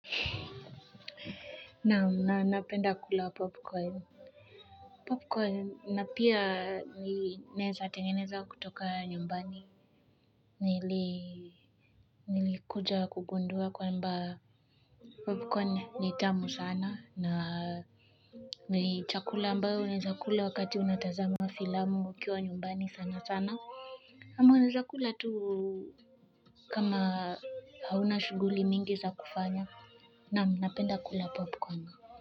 Naam na napenda kula popcorn na pia naeza kutoka nyumbani nilikuja kugundua kwamba popcorn ni tamu sana na ni chakula ambayo unaeza kula wakati unatazama filamu ukiwa nyumbani sana sana ama unaeza kula tu kama hauna shughuli mingi za kufanya naam napenda kula popcorn.